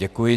Děkuji.